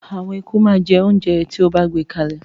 Àwọn eku máa jẹ oúnjẹ tí o bá gbé kalẹ̀.